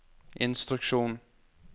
instruksjon